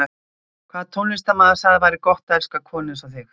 Hvaða tónlistarmaður sagði að það væri gott að elska konu eins og þig?